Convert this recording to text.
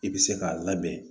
I bɛ se k'a labɛn